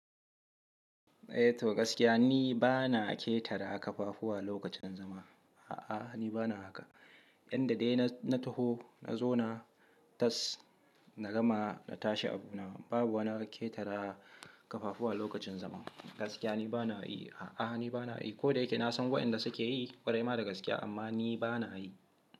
Eh to gaskiya ni ba na ƙetare kafafuwa lokacin zama. A'a, ni ba na haka. Yanda dai na, na taho, na zo na tas, na gama na tashi abu na. Babu wani ƙetare a kafafuwa a lokacin zama. Gaskiya ni ba na yi. A'a, ni ba na yi. Ko da yake na san waɗanda suke yi ƙwarai ma da gaskiya amma ni ba na yi.